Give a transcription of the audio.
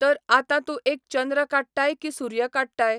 तर आतां तूं एक चंद्र काडटाय कि सुर्य काडताय.